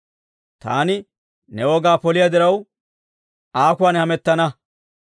Taani ne wogaa poliyaa diraw, aakuwaan hamettana.